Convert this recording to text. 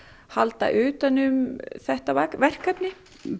halda utanum þetta verkefni